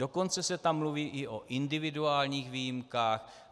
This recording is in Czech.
Dokonce se tam mluví i o individuálních výjimkách.